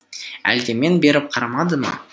әлде мен беріп қарамады ма